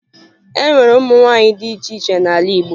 E nwere ụmụ nwaanyị dị iche iche n'ala Igbo